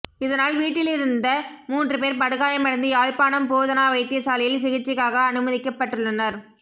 இதனால் வீட்டியிலிருந்த மூன்றுபேர் படுகாயமடைந்து யாழ்ப்பாணம் போதனா வைத்தியசாலையில் சிகிச்சைக்காக அனுமதிக்கப்பட்டுள்ளனர்